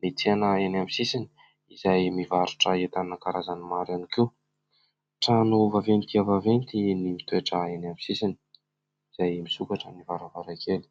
Ny tsena eny amin'ny sisiny izay mivarotra entana karazany maro ihany koa. Trano vaventy dia vaventy no mitoetra eny amin'ny sisiny izay misokatra ny varavarankely.